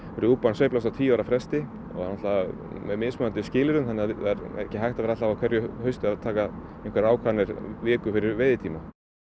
rjúpan sveiflast á tíu ára fresti og náttúrulega með mismunandi skilyrðum þannig að það er ekki hægt að vera alltaf á hverju hausti að taka einhverjar ákvarðanir viku fyrir veiðtíma